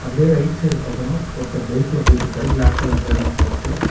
அப்படியே right side பாத்தனா ஒருத்தர் பைக்ல போய்ட்டுருக்காரு ப்ளாக் கலர் ஹெல்மட் போட்டு.